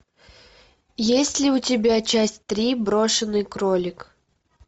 есть ли у тебя часть три брошенный кролик